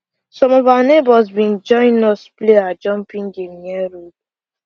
some of our neighbors been join us play our jumping game near road